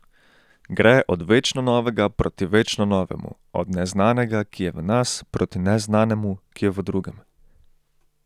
Gre od večno novega proti večno novemu, od neznanega, ki je v nas, proti neznanemu, ki je v drugem.